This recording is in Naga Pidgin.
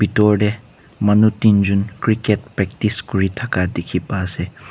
dur teh manu tinjon cricket practice kuri thaka dikhi pa ase.